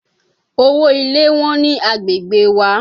Owo ilé Wọ́n ni agbègbè wa.